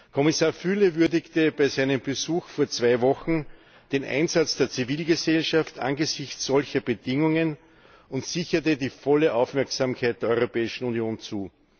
Kommissar Füle würdigte bei seinem Besuch vor zwei Wochen den Einsatz der Zivilgesellschaft angesichts solcher Bedingungen und sicherte die volle Aufmerksamkeit der Europäischen Union zu.